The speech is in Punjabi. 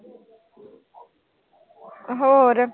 ਹੋਰ।